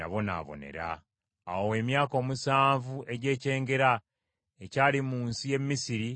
Awo emyaka omusanvu egy’ekyengera ekyali mu nsi y’e Misiri ne giggwaako.